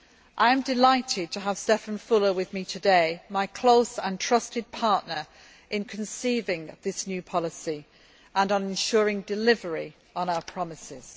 I am delighted to have Stefan Füle with me today my close and trusted partner in conceiving this new policy and on ensuring delivery on our promises.